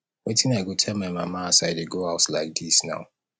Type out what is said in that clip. wetin i go tell my mama as i dey go house like dis now